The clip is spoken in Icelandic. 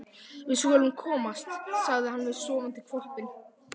Við skulum komast, sagði hann við sofandi hvolpinn.